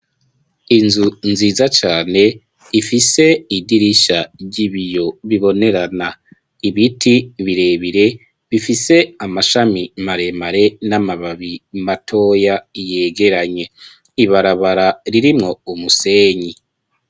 Inzu nziza cane ifise idirisha ry'ibiyo bibonerana ibiti birebire bifise amashami maremare n'amababi matoya yegeranye ibarabara ririmwo umusenyi.